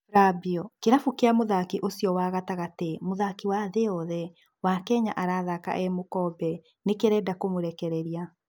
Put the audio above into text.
Flabio, kĩrabu kĩria mũthaki ũcio wa gatagatĩ, mũthaki wa thĩĩ yothe, wa Kenya arathaka e mũkombe, nĩ kĩrenda kũmũrekereria.